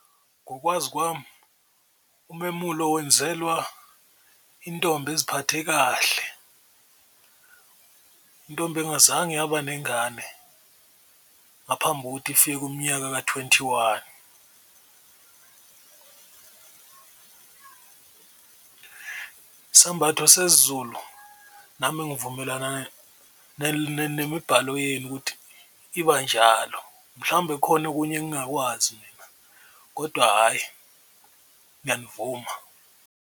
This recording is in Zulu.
Ngokwazi kwami umemulo wenzelwa intombi eziphathe kahle, intombi engazange yaba nengane ngaphambi kokuthi ifike kumnyaka ka-twenty one. Isambatho sesiZulu nami ngivumelana nemibhalo yenu ukuthi iba njalo. Mhlawumbe kukhona okunye engingakwazi mina kodwa hhayi ngiyamuvuma.